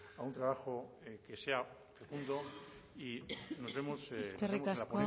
a un trabajo que sea y nos vemos eskerrik asko